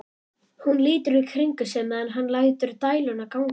Hún lítur í kringum sig meðan hann lætur dæluna ganga.